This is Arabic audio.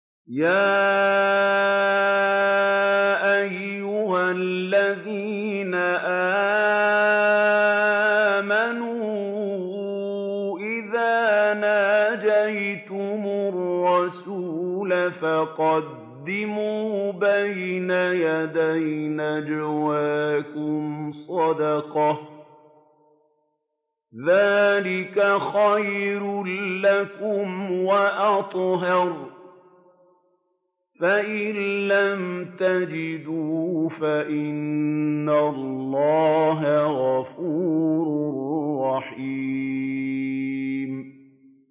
يَا أَيُّهَا الَّذِينَ آمَنُوا إِذَا نَاجَيْتُمُ الرَّسُولَ فَقَدِّمُوا بَيْنَ يَدَيْ نَجْوَاكُمْ صَدَقَةً ۚ ذَٰلِكَ خَيْرٌ لَّكُمْ وَأَطْهَرُ ۚ فَإِن لَّمْ تَجِدُوا فَإِنَّ اللَّهَ غَفُورٌ رَّحِيمٌ